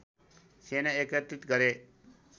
सेना एकत्रित गरे